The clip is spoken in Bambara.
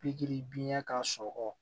Pikiri biɲɛ ka sɔrɔ